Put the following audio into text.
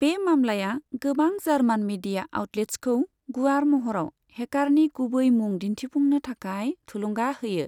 बे मामलाया गोबां जार्मान मीडिया आउटलेट्सखौ गुवार महराव हेकारनि गुबै मुं दिन्थिफुंनो थाखाय थुलुंगा होयो।